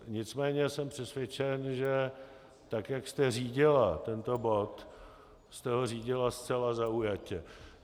Nicméně jsem přesvědčen, že tak jak jste řídila tento bod, jste ho řídila zcela zaujatě.